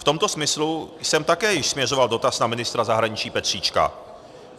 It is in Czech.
V tomto smyslu jsem také již směřoval dotaz na ministra zahraničí Petříčka.